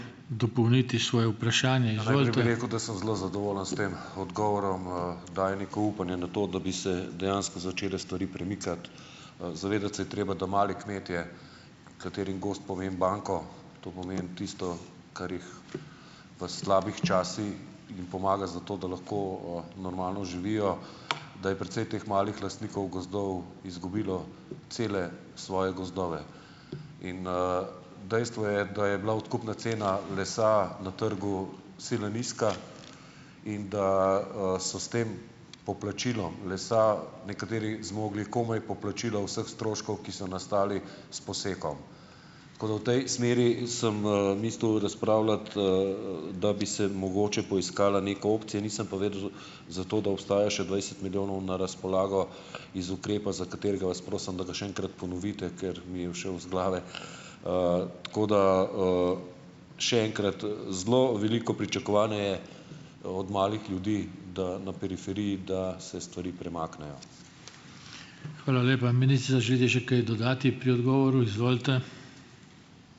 Bi rekel, da sem zelo zadovoljen s tem odgovorom, Daje neko upanje na to, da bi se dejansko začele stvari premikati. Zavedati se je treba, da mali kmetje, katerim gozd pomeni banko, to pomeni tisto, kar jih v slabih časih, jim pomaga za to, da lahko, normalno živijo, da je precej teh malih lastnikov gozdov izgubilo cele svoje gozdove in, dejstvo je, da je bila odkupna cena lesa na trgu sila nizka in da, so s tem poplačilom lesa nekateri zmogli komaj poplačilo vseh stroškov, ki so nastali s posekom. Tako da v tej smeri sem, mislil razpravljati, da bi se mogoče poiskala neka opcija, nisem pa vedel za to, da obstaja še dvajset milijonov na razpolago iz ukrepa, za katerega vas prosim, da ga še enkrat ponovite, ker mi je ušel iz glave. Tako da, še enkrat, zelo veliko pričakovanje je, od malih ljudi, da na periferiji, da se stvari premaknejo.